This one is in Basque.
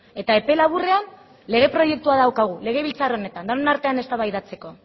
eta epe laburrean lege proiektua daukagu legebiltzar honetan denon artean eztabaidatzeko